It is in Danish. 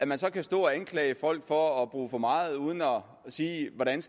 man så kan stå og anklage folk for at bruge for meget uden at sige hvordan